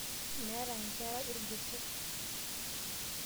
Meeta nkerra irgoso.